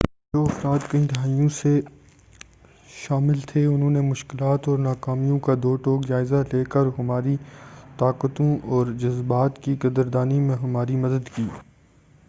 جو افراد کئی دہائیوں سے شامل تھے انھوں نے مشکلات اور ناکامیوں کا دوٹوک جائزہ لے کر ہماری طاقتوں اور جذبات کی قدر دانی میں ہماری مدد کی